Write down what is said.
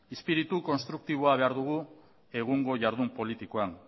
izpiritu konstruktiboa behar dugu egungo jardun politikoan